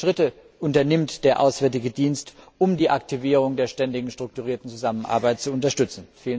Welche Schritte unternimmt der Auswärtige Dienst, um die Aktivierung der Ständigen Strukturierten Zusammenarbeit zu unterstützen?